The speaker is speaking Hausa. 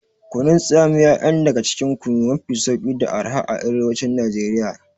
Kunun tsamiya yan daga cikin kunu mafi sauki da araha a arewacin Nigeria.